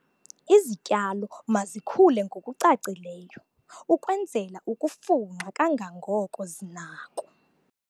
Izityalo mazikhule ngokucacileyo ukwenzela ukufunxa kangangoko zinako.